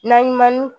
Na ɲuman